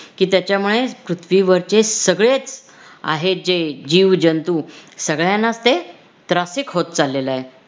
कि त्याच्यामुळे पृथ्वीवरचे सगळेच आहे जे जीव जंतू सगळ्यांनाच ते त्रासिक होत चाललेलं आहे